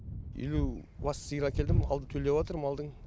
елу бас сиыр әкелдім алды төлдеватыр малдың